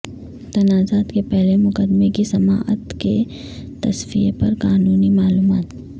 تنازعات کے پہلے مقدمے کی سماعت کے تصفیہ پر قانونی معلومات